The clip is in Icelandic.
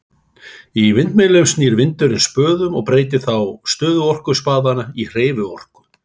Í vindmyllum snýr vindurinn spöðum og breytir þá stöðuorku spaðanna í hreyfiorku.